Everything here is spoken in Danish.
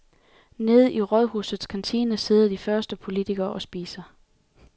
Nede i rådhusets kantine sidder de første politikere og spiser.